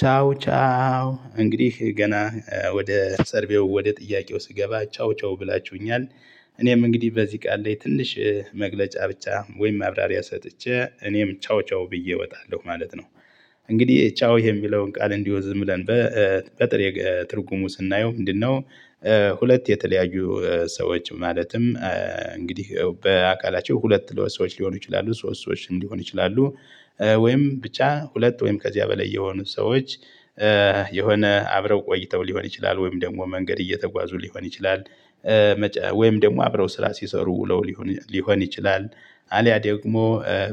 ቻው ቻው እንግዲህ ገና ወደ ሰርቬው ወደ ጥያቄው ስገባ ቻው ቻው ብላችሁኛል እኔም እንግዲህ በዚህ ቃል ላይ ትንሽ መግለጫ ብቻ ወይም ማብራሪያ ሰጥቼ እኔም ቻው ቻው ብዬ እወጣለሁ ማለት ነው። እንግዲህ ቻው የሚለውን ቃል እንዲሁ ዝም ብለን በጥሬ ትርጉሙ ስናየው ምንድነው? ሁለት የተለያዩ ሰዎች ማለትም እንግዲህ በአካላቸው ሁለት ሰዎች ሊሆኑ ይችላሉ ሶስት ሰዎች ሊሆኑ ይችላሉ። ወይም ብቻ ሁለት ወይም ከዚያ በላይ የሆኑ ሰዎች። የሆነ አብረው ቆይተው ሊሆን ይችላል ወይም ደግሞ መንገድ እየተጓዙ ሊሆን ይችላል። ወይም ደግሞ አብረው ስራ ሲሰሩ ውለው ሊሆን ሊሆን ይችላል። አልያ ደግሞ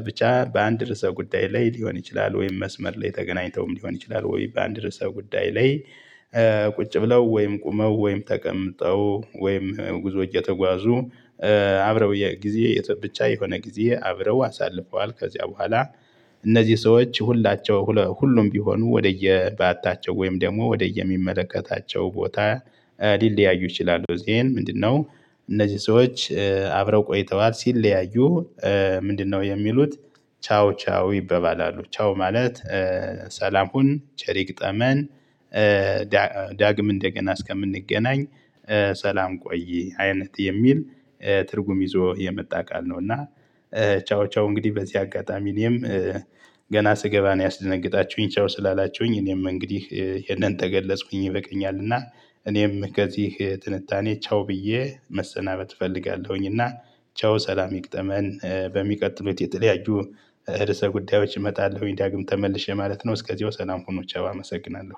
ብቻ በአንድ ርዕሰ ጉዳይ ላይ ሊሆን ይችላል ወይም መስመር ላይ ተገናኝተውም ሊሆን ይችላል ወይ በአንድ ርዕሰ ጉዳይ ላይ። ቁጭ ብለው ወይም ቆመው ወይም ተቀምጠው ወይም ጉዞ እየተጓዙ አብረው ጊዜ ብቻ የሆነ ጊዜ አብረው አሳልፈዋል ከዚያ በኋላ። እነዚህ ሰዎች ሁላቸው ሁሉም ቢሆኑ ወደየባታቸው ወይም ደግሞ ወደየሚመለከታቸው ቦታ ሊለያዩ ይችላሉ ዜን ምንድነው? እነዚህ ሰዎች አብረው ቆይተዋል ሲለያዩ ምንድነው የሚሉት? ቻው ቻው ይባባላሉ ቻው ማለት ሰላም ሁን ቸር ይግጠመን። ዳግም እንደገና እስከምንገናኝ ሰላም ቆይ አይነት የሚል ትርጉም ይዞ የመጣ ቃል ነውና። ቻው ቻው እንግዲህ በዚህ አጋጣሚ እኔም። ገና ስገባ ነው ያስደነግጣችሁኝ ቻው ስላላችሁኝ እኔም እንግዲህ ይሄንን ተገለጽኩኝ ይበቅኛል እና። እኔም ከዚህ ትንታኔ ቻው ብዬ መሰናበት እፈልጋለሁኝ። እና ቻው ሰላም ይግጠመን በሚቀጥሉት የተለያዩ ርዕሰ ጉዳዮች እመጣለሁኝ። ዳግም ተመልሼ ማለት ነው እስከዚያው ሰላም ሁኑ ቻው አመሰግናለሁ።